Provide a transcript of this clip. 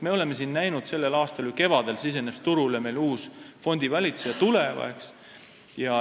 Me oleme siin näinud, kuidas selle aasta kevadel tuli meil turule uus fondivalitseja Tuleva.